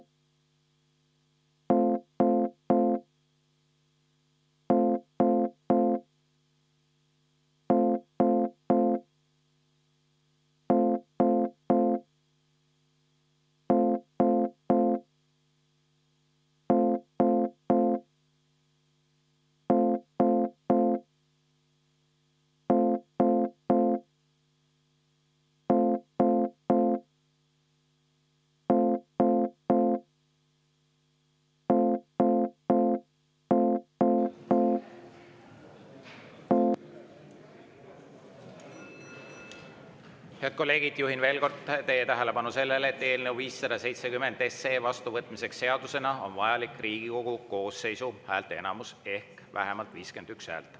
Head kolleegid, juhin veel kord teie tähelepanu sellele, et eelnõu 570 seadusena vastuvõtmiseks on vajalik Riigikogu koosseisu häälteenamus ehk vähemalt 51 häält.